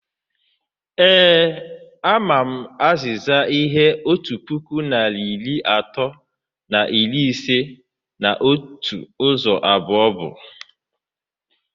Eee,a ma m azịza ihe otu puku narị iri atọ na iri ise na otu ụzọ abụọ bu